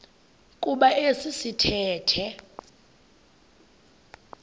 kuba esi sithethe